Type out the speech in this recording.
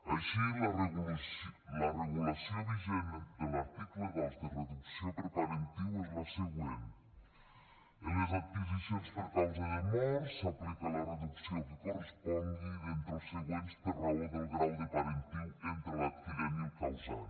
així la regulació vigent de l’article dos de reducció per parentiu és la següent en les adquisicions per causa de mort s’aplica la reducció que correspongui d’entre els següents per raó del grau de parentiu entre l’adquirent i el causant